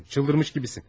Dəlirmiş kimisən.